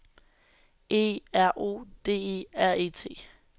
E R O D E R E T